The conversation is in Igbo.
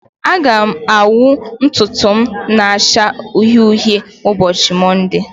Aga m anwụ ntutu m na-acha uhie uhie n'ụbọchị Mọnde